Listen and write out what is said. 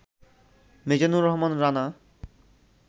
Mizanur Rahman Rana